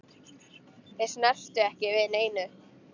Þeir snertu ekki við neinu.